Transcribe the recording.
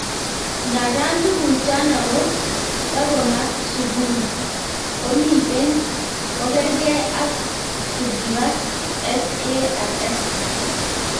Ndadan tuguk chano ko takomak subuhi, komicheng kokerngeng ang chukipak SARS.